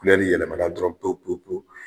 yɛlɛmana dɔrɔn pewu pewu pewu